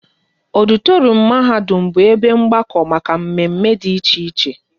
Ọditorum mahadum bụ ebe mgbakọ maka mme mme dị iche iche